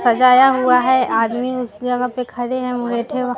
सजाया हुआ है आदमी उस जगह पे खड़े है उ बैठे --